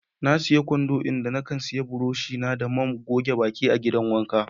Na siya kwando, inda na kan sanya buroshi na da man goge baki a'gidan wanka.